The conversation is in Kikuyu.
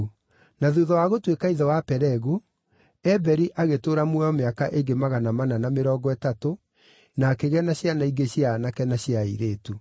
Na thuutha wa gũtuĩka ithe wa Pelegu, Eberi agĩtũũra muoyo mĩaka ĩngĩ magana mana na mĩrongo ĩtatũ, na akĩgĩa na ciana ingĩ cia aanake na cia airĩtu.